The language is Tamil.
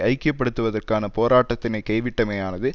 ஐக்கிய படுத்துவதற்கான போராட்டத்தினை கைவிட்டமையானது